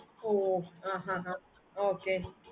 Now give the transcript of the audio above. ah ah ah okay